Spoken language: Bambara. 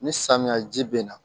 Ni samiya ji bɛ na